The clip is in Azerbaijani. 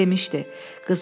Demmişdi: